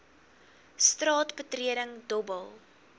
straat betreding dobbel